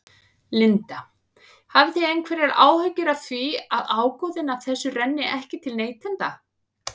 Linda: Hafið þið einhverjar áhyggjur af því að ágóðinn af þessu renni ekki til neytenda?